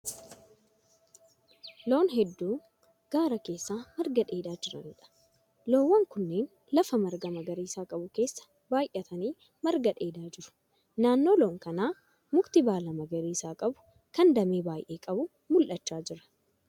Loon hedduu gaara keessa marga dheedaa jiraniidha. Loowwan kunneen lafa marga magariisa qabu keessa baayyatanii marga dheedaa jiru. Naannoo loon kanaa muki baala magariisa qabu kan damee baay'ee qabu mul'achaa jira.